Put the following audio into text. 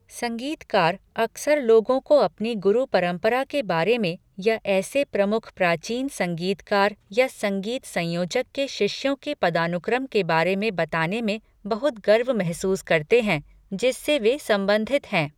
संगीतकार अक्सर लोगों को अपनी गुरु परम्परा के बारे में या ऐसे प्रमुख प्राचीन संगीतकार या संगीत संयोजक के शिष्यों के पदानुक्रम के बारे में बताने में बहुत गर्व महसूस करते हैं, जिससे वे संबंधित हैं।